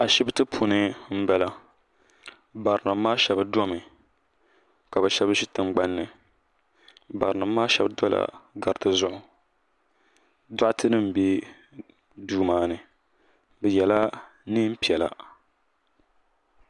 Ashibiti puuni n bala bara nima maa shɛba domi ka bi shɛba zi tiŋgbani bara nima maa shɛba dola gariti zuɣu dɔɣite nima bɛ duu maa ni bi yɛla nɛma piɛlla.